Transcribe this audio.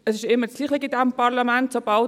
Es ist in diesem Parlament immer dasselbe: